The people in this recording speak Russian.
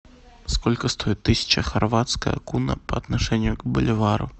сколько стоит тысяча хорватская куна по отношению к боливару